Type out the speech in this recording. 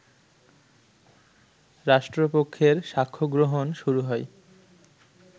রাষ্ট্রপক্ষের সাক্ষ্যগ্রহণ শুরু হয়